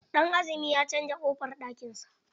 Danazumi ya canza ƙofar ɗakin sa.